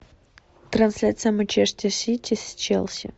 трансляция манчестер сити с челси